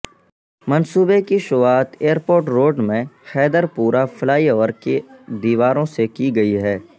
منصوبے کی شروعات ایئرپورٹ روڈ میں حیدرپورہ فلائی اوور کی دیواروں سے کی گئی ہے